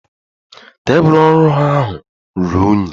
Tebụl ọrụ ahụ ruru unyi.